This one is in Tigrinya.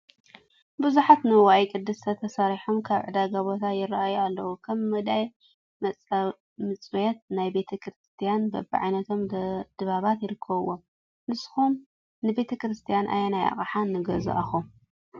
ብዙሓት ንዋየ ቅድሳት ተሰሪሖም ኣብ ዕዳጋ ቦታ ይራኣዩ ኣለው፡፡ ከም ሙዳየ መፅዋት፣ ናይ ቤተ ክርስትያን በብዓይነቶም ድባባት ይርከብዎም፡፡ ንስኹም ንቤተ ክርስትያን ኣየናይ ኣቕሓ ንገዛእኹም?